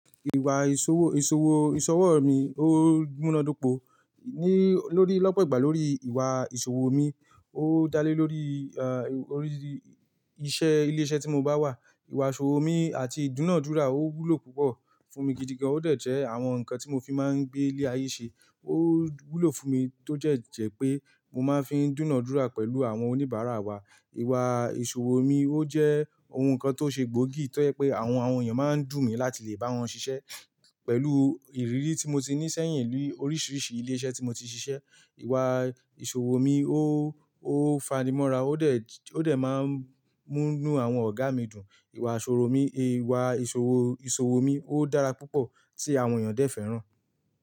Ìwà ìṣòwò, ìṣòwò, ìṣọwọ mi ó múná dopo. Ni lórí lọ́pọ̀ ìgbà lórí ìwà ìṣòwò mi, ó dá lé lórí er, orí iṣẹ́ ilé-iṣẹ́ tí mo bá wà. Ìwà ìṣòwò mi àti ìdúnàádúrà ó wúlò púpọ̀ fún mi gidi gan. Ó dẹ̀ jẹ́ àwọn nǹkan tí mo fi máa ń gbé ilé-ayé ṣe. Ó wúlò fún mi tó jẹ́ jẹ́ pé mo máa ń fi ń dúnàádúrà pẹ̀lú àwọn oníbàárà wa. Ìwà ìṣòwò mi ó jẹ́ ohun kan tó ṣe gbóògì tó ẹ́ pé àwọn, àwọn èèyàn máa ń dù mí láti lè bá wọn ṣiṣẹ́. Pẹ̀lú ìrírí tí mo ti ní sẹ́yìn ni oríṣiríṣi ilé iṣẹ́ tí mo ti ṣiṣẹ́, ìwà ìṣòwò mi ó, ó fanimọ́ra ó dẹ̀, ó dẹ̀ máa ń mú inú àwọn ọ̀gá mi dùn. Ìwà ìṣòwò mi, ìwà ìṣòwò, ìṣòwò mi ó dára púpọ̀ tí àwọn èèyàn dẹ́ fẹ́ràn.